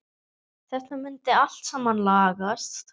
Þetta myndi allt saman lagast.